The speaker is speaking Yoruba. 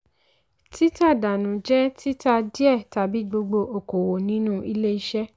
tí tà dànù jẹ́ títa díẹ̀ tàbí gbogbo okòwò nínú ilé iṣẹ́.